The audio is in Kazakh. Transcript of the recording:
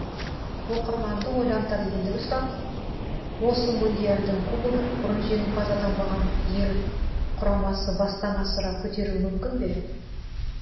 оқырманды ойлантар ендігі сұрақ осы мундиальдың кубогын бұрын жеңімпаз атанбаған ел құрамсы бастан асыра көтеруі мүмкін бе